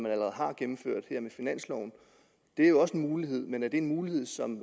allerede har gennemført med finansloven det er jo også en mulighed men er det en mulighed som